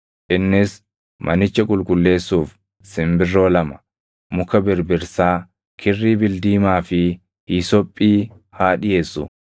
Innis manicha qulqulleessuuf simbirroo lama, muka birbirsaa, kirrii bildiimaa fi hiisophii haa dhiʼeessu.